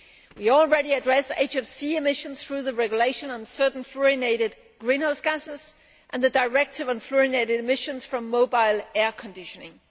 We already address HFC emissions through the Regulation on certain fluorinated greenhouse gases and the Directive on fluorinated emissions from mobile air conditioning.